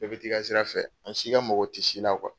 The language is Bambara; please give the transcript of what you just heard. Bɛɛ bɛ t'i ka sira fɛ, an si ka mago tɛ si la.kuwa.